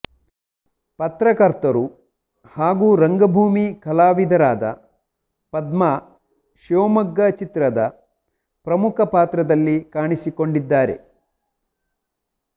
ಪತ್ರಕರ್ತರು ಹಾಗೂ ರಂಗಭೂಮಿ ಕಲಾವಿದರಾದ ಪದ್ಮಾ ಶಿವಮೊಗ್ಗ ಚಿತ್ರದ ಪ್ರಮುಖ ಪಾತ್ರದಲ್ಲಿ ಕಾಣಿಸಿಕೊಂಡಿದ್ದಾರೆ